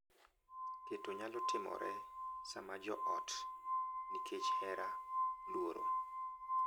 Keto nyalo timore sama jo ot, nikech hera, luoro,